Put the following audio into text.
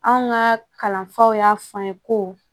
Anw ka kalanfaw y'a fɔ an ye ko